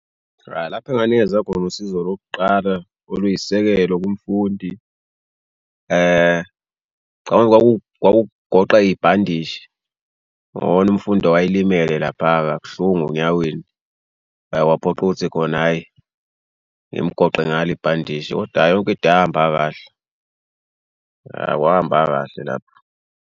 Cha, lapho enganikeza khona usizo lokuqala oluyisisekelo kumfundi cabanga kwakuwugoqa ibhandishi khona umfundi owayelimele laphaya kabuhlungu enyaweni. La kwaphoqa ukuthi khona hhayi ngimgoqe ngalo ibhandishi koda yonke into yahamba kahle. Ya, kwahamba kahle lapha.